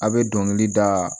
A' be dɔnkili da